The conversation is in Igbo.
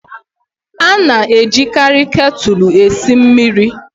A na-ejikarị ketulu esi mmiri